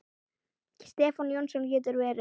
Stefán Jónsson getur verið